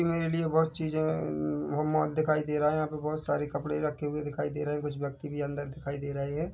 मेरे लिए बहुत चीज़े अ मॉल दिखाई दे रहा हैं यहाँ पे बहोत सारे कपड़े रखे दिखाई दे रहे हैं कुछ व्यक्ति भी अंदर दिखाई दे रहे हैं।